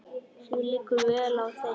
Það liggur vel á þeim.